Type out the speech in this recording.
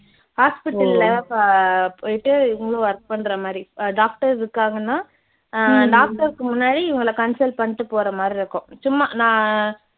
hosptial ல அஹ் போயிட்டு இவங்களும் work பண்ற மாதிரி அஹ் doctor இருக்காங்கன்னா அஹ் doctor க்கு முன்னாடி இவங்களை consult பண்ணிட்டு போற மாதிரி இருக்கும் சும்மா நான்